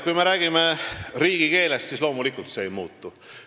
Kui me räägime riigikeelest, siis see loomulikult ei muutu.